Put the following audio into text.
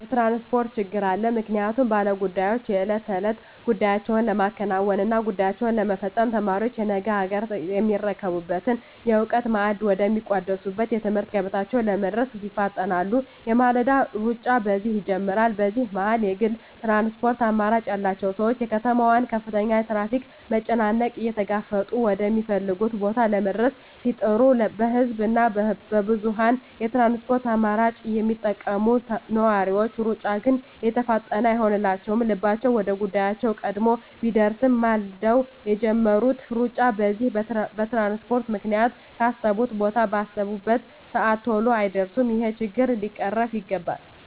የትራንስፖርት ችግር አለ ምክንያቱም ባለ ጉዳዮች የእለት ተእለት ጉዳያቸዉን ለማከናወን እና ጉዳያቸዉን ለመፈፀም፣ ተማሪዎች ነገ አገርየሚረከቡበትን የእዉቀት ማዕድ ወደ ሚቋደሱበት የትምህርት ገበታቸዉ ለመድረስ ይፋጠናሉ የማለዳዉ ሩጫ በዚህ ይጀምራል በዚህ መሀል የግል ትራንስፖርት አማራጭ ያላቸዉ ሰዎች የከተማዋን ከፍተኛ የትራፊክ መጨናነቅ እየተጋፈጡ ወደ ሚፈልጉት ቦታ ለመድረስ ሲጥሩ በህዝብ እና በብዙኀን የትራንስፖርት አማራጮች የሚጠቀሙ ነዋሪዎች ሩጫ ግን የተፋጠነ አይሆንላቸዉም ልባቸዉ ወደ ጉዳያቸዉ ቀድሞ ቢደርስም ማልደዉ የጀመሩት ሩጫ በዚህ በትራንስፖርት ምክንያት ካሰቡት ቦታ ባሰቡበት ሰአት ተሎ አይደርሱም ይሄ ችግር ሊቀረፍ ይገባል